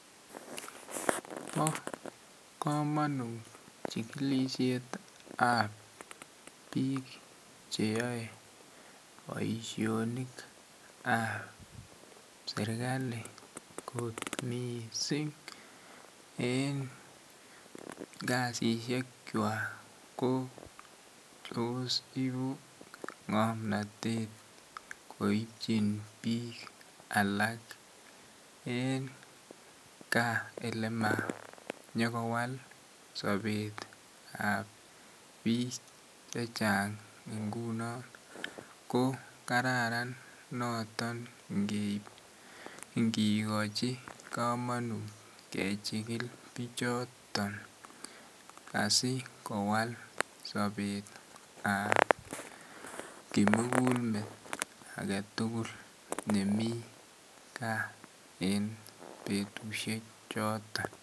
Bo komonut chigilisiet ab bik Che yoe boisionik ab serkali kot mising en kasisyek kwak ko tos ibu ngomnatet koibchin bik alak en gaa Ole manyokowal sobet ab bik Che Chang ngunon ko Kararan noton ingigochi komunut kechikil bichoto asi kowal sobetab ab kimugul met age tugul nemi gaa en betusiek choton